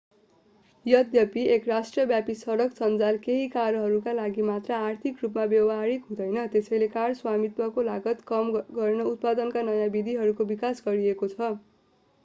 यद्यपि एक राष्ट्रव्यापी सडक सञ्जाल केही कारहरूका लागि मात्र आर्थिक रूपमा व्यवहारिक हुँदैन त्यसैले कार स्वामित्वको लागत कम गर्न उत्पादनका नयाँ विधिहरूको विकास गरिएको छछ